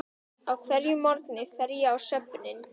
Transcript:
Á hverjum morgni fer ég á söfnin.